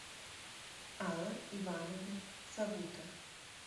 алла ивановна савута